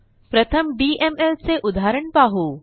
प्रथम डीएमएल चे उदाहरण पाहू